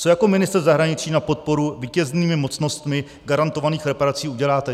Co jako ministr zahraničí na podporu vítěznými mocnostmi garantovaných reparací uděláte?